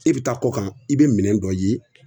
E be taa kɔ kan i be minɛn dɔ ye